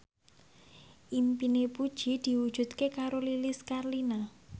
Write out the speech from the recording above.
impine Puji diwujudke karo Lilis Karlina